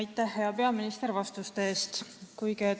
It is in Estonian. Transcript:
Aitäh, hea peaminister, vastuste eest!